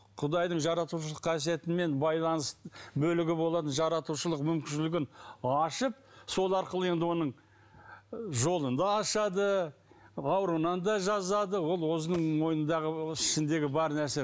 құдайдың жаратушылық қасиетімен байланыс бөлігі болатын жаратушылық мүмкіншілігін ашып сол арқылы енді оның жолын да ашады ауруынан да жазады ол өзінің мойнындағы ішіндегі бар нәрсе